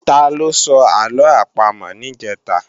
Taló sọ àlọ àpamọ̀ níjẹ̀ta?